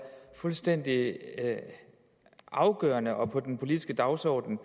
fuldstændig afgørende og på den politiske dagsorden